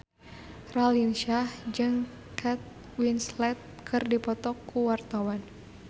Raline Shah jeung Kate Winslet keur dipoto ku wartawan